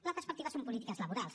la perspectiva són polítiques laborals